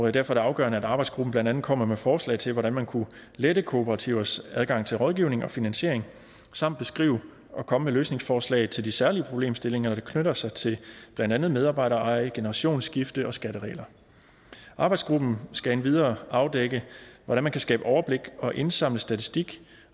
er det afgørende at arbejdsgruppen blandt andet kommer med forslag til hvordan man kunne lette kooperativers adgang til rådgivning og finansiering samt beskrive og komme med løsningsforslag til de særlige problemstillinger der knytter sig til blandt andet medarbejdereje generationsskifte og skatteregler arbejdsgruppen skal endvidere afdække hvordan man kan skabe overblik og indsamle statistik